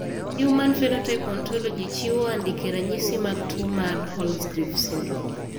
Human Phenotype Ontology chiwo andike ranyisi mag tuo mar Holzgreve syndrome.